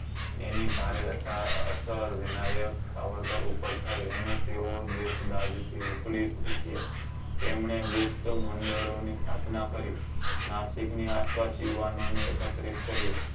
એની ભારે વ્યથા અસર વિનાયક સાવરકર ઉપર થઇ અને તેઓ દેશ દાજ થી ઉકલી ઉઠ્યા તેમને ગુપ્ત મંડળો ની સ્થાપના કરી નાસિક ની આસપાસ યોવાનો ને એકત્રિત કરી